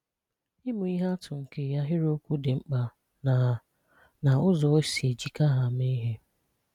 Ị́mụ̀ ihè àtụ̀ nkè àhịrị́okwù dị̀ mkpà na na ụ̀zọ́ ó sì èjíkà ha meè ihè